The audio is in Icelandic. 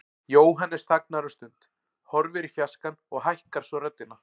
Jóhannes þagnar um stund, horfir í fjarskann og hækkar svo röddina.